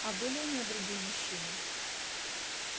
а были у неё другие мужчины